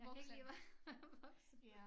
Jeg kan ikke lide at være være voksen